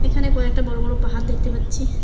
এখানে কয়েকটা বড় বড় পাহাড় দেখতে পাচ্ছি।